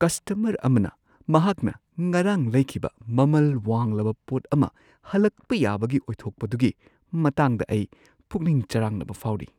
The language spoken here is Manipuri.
ꯀꯁꯇꯃꯔ ꯑꯃꯅ ꯃꯍꯥꯛꯅ ꯉꯔꯥꯡ ꯂꯩꯈꯤꯕ ꯃꯃꯜ ꯋꯥꯡꯂꯕ ꯄꯣꯠ ꯑꯃ ꯍꯜꯂꯛꯄ ꯌꯥꯕꯒꯤ ꯑꯣꯏꯊꯣꯛꯄꯗꯨꯒꯤ ꯃꯇꯥꯡꯗ ꯑꯩ ꯄꯨꯛꯅꯤꯡ ꯆꯔꯥꯡꯅꯕ ꯐꯥꯎꯔꯤ꯫